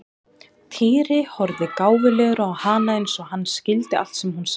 Týri horfði gáfulegur á hana eins og hann skildi allt sem hún sagði.